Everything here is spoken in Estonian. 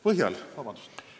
Kas saaks ka lisaaega?